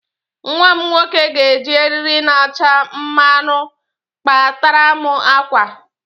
Nwa m nwoke ga-eji eriri na-acha marunu kpataram àkwá